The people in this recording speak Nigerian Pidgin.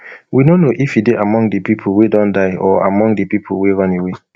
we no know if e dey among di pipo wey don die or among di pipo wey run away